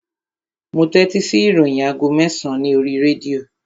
Mo tẹ́tí sí ìròyìn aago mẹ́sàn-án ní oríi rédíò